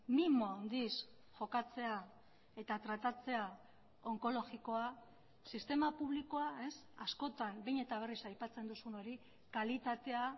mimo handiz jokatzea eta tratatzea onkologikoa sistema publikoa askotan behin eta berriz aipatzen duzun hori kalitatea